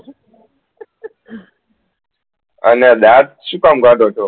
અને દાત શુ કામ કાળો છો